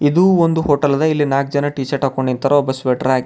ಇದು ಒಂದು ಹೋಟೆಲ್ ಅದಇಲ್ಲಿ ನಾಕ್ ಜನ ಟಿ-ಶರ್ಟ್ ಹಾಕೊಂಡ್ ನಿಂತರ ಒಬ್ಬ ಸ್ವೇಟರ್ ಹಾಕ್ಯನ.